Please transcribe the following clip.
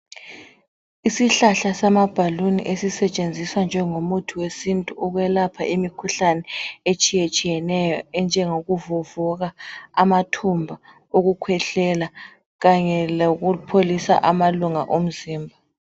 Isihlahla samabhaluni, esisetshenziswa njengomuthi wesintu, Ukwelapha imikhuhlane etshiyetshiyeneyo. Enjengokuvuvuka, amathumba, ukukhwehlela, kanye lokupholisa amalunga omzimba.